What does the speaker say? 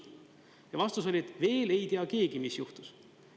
Ja vastus oli, et veel ei tea keegi, mis juhtus.